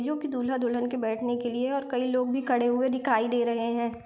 जो कि दूल्हा दुल्हन के बेठने के लिए है और कई लोग भी खड़े हुए दिखाई दे रहे है।